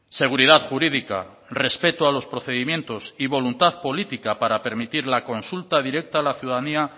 seguridad jurídica respeto a los procedimientos y voluntad política para permitir la consulta directa a la ciudadanía